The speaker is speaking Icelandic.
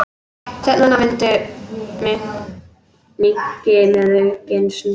Sveiflurnar minnki með aukinni reynslu